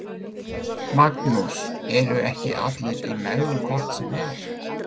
Magnús: Eru ekki allir í megrun hvort sem er?